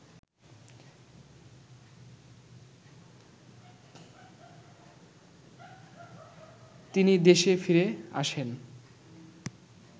তিনি দেশে ফিরে আসেন